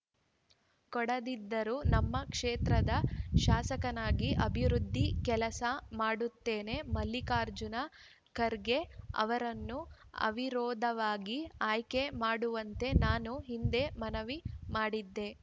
ಕೊಡದಿದ್ದರೂ ನಮ್ಮ ಕ್ಷೇತ್ರದ ಶಾಸಕನಾಗಿ ಅಭಿವೃದ್ಧಿ ಕೆಲಸ ಮಾಡುತ್ತೇನೆ ಮಲ್ಲಿಕಾರ್ಜುನ ಖರ್ಗೆ ಅವರನ್ನು ಅವಿರೋಧವಾಗಿ ಆಯ್ಕೆ ಮಾಡುವಂತೆ ನಾನು ಹಿಂದೆ ಮನವಿ ಮಾಡಿದ್ದೆ